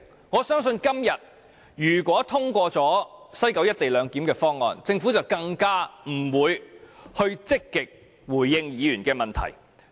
我相信如果今天通過西九"一地兩檢"的議案，政府更不會積極回應議員的質詢。